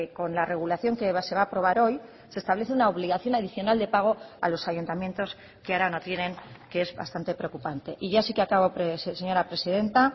con la regulación que se va a aprobar hoy se establece una obligación adicional de pago a los ayuntamientos que ahora no tienen que es bastante preocupante y ya sí que acabo señora presidenta